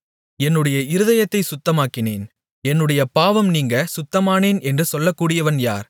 என்னுடைய இருதயத்தைச் சுத்தமாக்கினேன் என்னுடைய பாவம் நீங்க சுத்தமானேன் என்று சொல்லக்கூடியவன் யார்